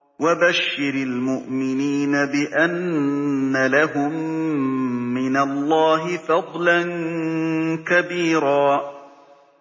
وَبَشِّرِ الْمُؤْمِنِينَ بِأَنَّ لَهُم مِّنَ اللَّهِ فَضْلًا كَبِيرًا